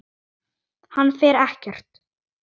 Hann fer ekkert.